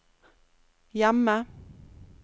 hjemme